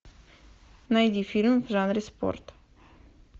найди фильм в жанре спорт